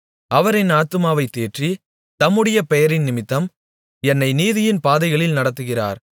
அவர் என் ஆத்துமாவைத் தேற்றி தம்முடைய பெயரினிமித்தம் என்னை நீதியின் பாதைகளில் நடத்துகிறார்